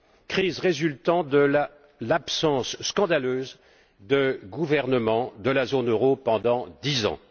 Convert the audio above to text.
Crise résultant de l'absence scandaleuse de gouvernement de la zone euro pendant dix ans.